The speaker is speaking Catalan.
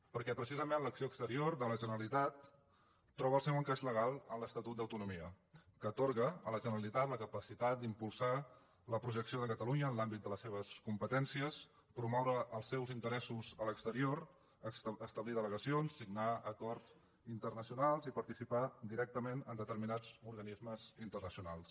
perquè precisament l’acció exterior de la generalitat troba el seu encaix legal en l’estatut d’autonomia que atorga a la generalitat la capacitat d’impulsar la projecció de catalunya en l’àmbit de les seves competències promoure els seus interessos a l’exterior establir delegacions signar acords internacio nals i participar directament en determinats organismes internacionals